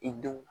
I dun